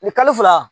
Ni kalo fila